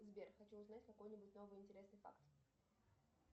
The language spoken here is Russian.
сбер хочу узнать какой нибудь новый интересный факт